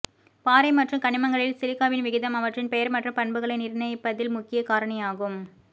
பாறை மற்றும் கனிமங்களில் சிலிக்காவின் விகிதம் அவற்றின் பெயர் மற்றும் பண்புகளை நிர்ணயிப்பதில் முக்கிய காரணியாகும்